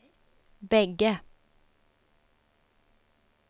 bägge